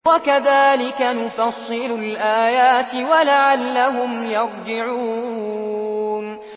وَكَذَٰلِكَ نُفَصِّلُ الْآيَاتِ وَلَعَلَّهُمْ يَرْجِعُونَ